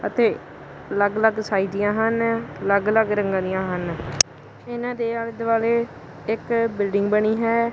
ਅਤੇ ਅਲੱਗ ਅਲੱਗ ਸਾਈਜ਼ ਦੀਆਂ ਹਨ ਅਲੱਗ ਅਲੱਗ ਰੰਗਾਂ ਦੀਆਂ ਹਨ ਇਹਨਾਂ ਦੇ ਆਲੇ ਦੁਆਲੇ ਇੱਕ ਬਿਲਡਿੰਗ ਬਣੀ ਹੈ।